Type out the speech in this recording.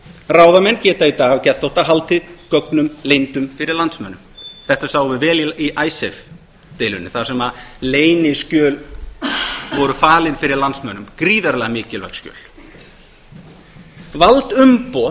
ráðamenn geta í dag af geðþótta haldið gögnum leyndum fyrir landsmönnum þetta sáum við vel í icesave deilunni þar sem sem leyniskjöl voru falin fyrir landsmönnum gríðarlega mikilvæg skjöl valdumboð